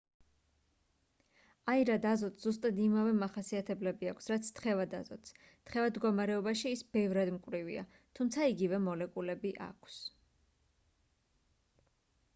აირად აზოტს ზუსტად იმავე მახასიათებლები აქვს რაც თხევად აზოტს თხევად მდგომარეობაში ის ბევრად მკვრივია თუმცა იგივე მოლეკულები აქვს